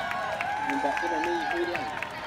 Nyũmba ĩno nĩĩihũire andũ?